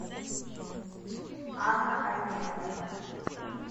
анна арменовна